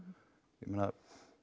ég meina